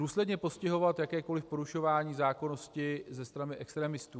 Důsledně postihovat jakékoli porušování zákonnosti ze strany extremistů.